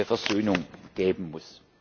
Versöhnung geben muss.